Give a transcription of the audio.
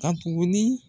Ka tuguni